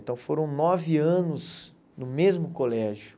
Então foram nove anos no mesmo colégio.